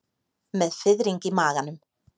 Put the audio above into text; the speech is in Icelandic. Með fiðring í maganum.